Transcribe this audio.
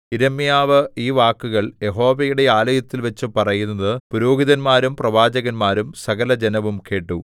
യിരെമ്യാവ് ഈ വാക്കുകൾ യഹോവയുടെ ആലയത്തിൽവച്ചു പറയുന്നത് പുരോഹിതന്മാരും പ്രവാചകന്മാരും സകലജനവും കേട്ടു